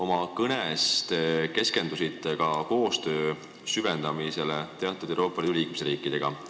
Oma kõnes te keskendusite ka vajadusele süvendada koostööd teatud Euroopa Liidu liikmesriikidega.